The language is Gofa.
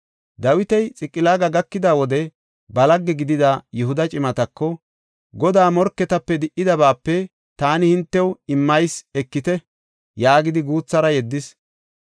Dawiti Xiqilaaga gakida wode ba lagge gidida Yihuda cimatako, “Godaa morketape di7etidabaape taani hintew immeysa ekite” yaagidi guuthara yeddis.